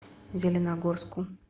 зеленогорску